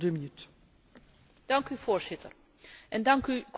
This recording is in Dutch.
Dank u, Voorzitter, en dank u, commissaris De Gucht.